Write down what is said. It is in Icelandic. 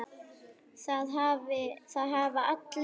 Það hafa allir